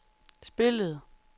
spillede